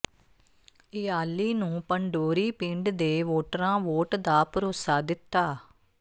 ਇਯਾਲੀ ਨੂੰ ਪੰਡੋਰੀ ਪਿੰਡ ਦੇ ਵੋਟਰਾਂ ਵੋਟ ਦਾ ਭਰੋਸਾ ਦਿੱਤਾ